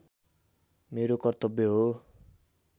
मेरो कर्तव्य हो